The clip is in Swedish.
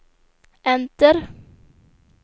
enter